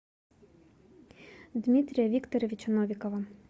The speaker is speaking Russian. дмитрия викторовича новикова